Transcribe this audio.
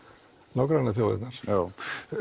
nágrannaþjóðirnar já